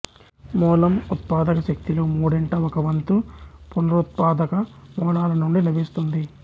మూలం ఉత్పాదక శక్తిలో మూడింట ఒకవంతు పునరుత్పాదక మూలాల నుండి లభిస్తుంది